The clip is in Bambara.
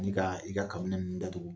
Ani kaa i ka kabinɛ ninnu datugu.